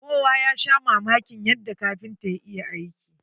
Kowa ya sha mamakin yadda kapintan ya iya aiki.